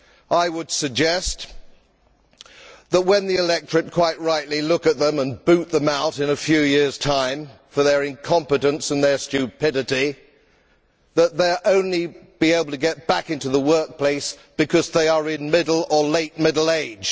I would suggest that when the electorate quite rightly look at them and boot them out in a few years' time for their incompetence and their stupidity, they will only be able to get back into the workplace because they are in middle or late middle age.